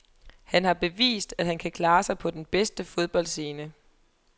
Han har bevist, at han kan klare sig på den bedste fodboldscene.